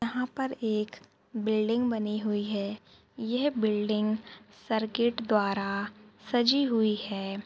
यहाँ पर एक बिल्डिंग बनी हुई है यह बिल्डिंग सर्किट द्वारा सजी हुई है।